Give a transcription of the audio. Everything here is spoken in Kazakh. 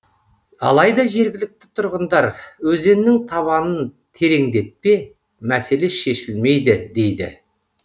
алайда жергілікті тұрғындар өзеннің табанын тереңдетпе мәселе шешілмейді дейді